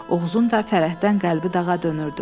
Oğuzun da fərəhdən qəlbi dağa dönürdü.